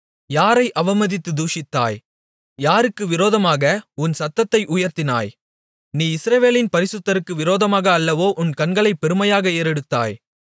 யாரை அவமதித்து தூஷித்தாய் யாருக்கு விரோதமாக உன் சத்தத்தை உயர்த்தினாய் நீ இஸ்ரவேலின் பரிசுத்தருக்கு விரோதமாக அல்லவோ உன் கண்களைப் பெருமையாக ஏறெடுத்தாய்